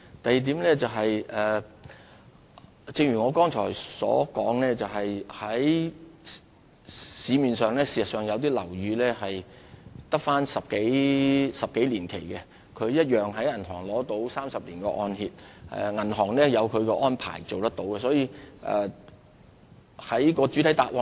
第二點是，正如我剛才所說，市面上有些樓宇距離土地契約期滿只餘10多年，但依然獲銀行提供30年按揭，銀行自有其安排，是可以做得到的。